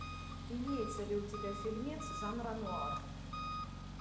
имеется ли у тебя фильмец жанра нуар